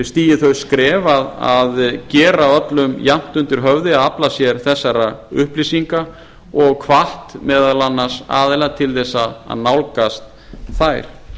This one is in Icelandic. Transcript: stigið þau skref að gera öllum jafnt undir höfði að afla sér þessara upplýsinga og hvatt meðal annars aðila til þess að nálgast þær